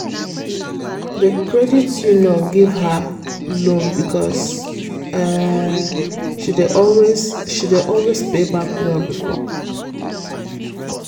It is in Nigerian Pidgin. the credit union gree give her loan because um she dey always she dey always pay back well before.